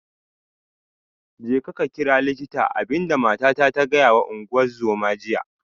Jeka ka kira likita, abin da matata ta gaya wa ungozoma jiya